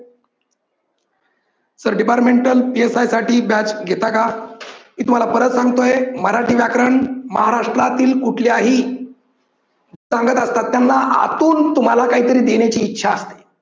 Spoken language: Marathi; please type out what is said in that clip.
sir departmentalPSI साठी batch घेता का? मी तुम्हाला परत सांगतो आहे मराठी व्याकरण महाराष्ट्रातील कुठल्याही सांगत असतात त्यांना आतून तुम्हाला काहीतरी देण्याची इच्छा असते.